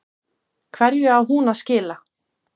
Hverju á hún að skila?